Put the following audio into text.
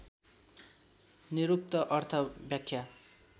निरुक्त अर्थ व्याख्या